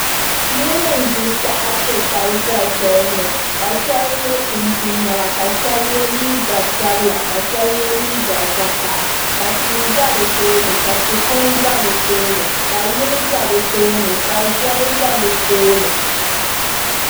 Niraba n ʒi taha piɛ taba ʒɛ soli ni ka shab yɛ chinchin niɛma ka shab yɛ liiga sabila ka shab yɛ liiga vakaɣa ka tia ʒɛ bi tooni ka tia kuŋ ʒɛ bi tooni ka yili ʒɛ bi tooni ka zoli ʒɛ bi tooni